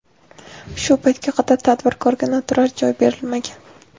Shu paytga qadar tadbirkorga noturar joy berilmagan.